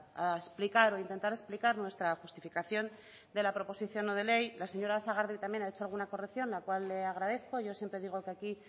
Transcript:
a explicar o a intentar explicar nuestra justificación de la proposición no de ley la señora sagardui también ha hecho una corrección la cual le agradezco yo siempre digo que aquí